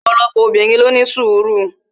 opolopo obinrin lo ni sùru